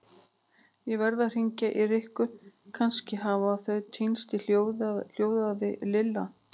Ég verð að hringja í Rikku, kannski hafa þau týnst hljóðaði Lilla.